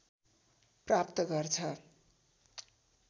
प्राप्त गर्छ